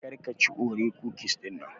Kar ka chi Oreo cookies dinnan.